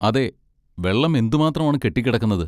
അതെ, വെള്ളം എന്തുമാത്രമാണ് കെട്ടിക്കിടക്കുന്നത്.